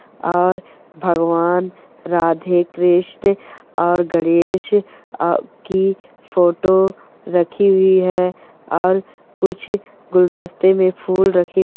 और भगवान राधे कृष्ण और गणेश की फोटो रखी हुई है और कुछ गुलदस्ते में फूल रखे हुए --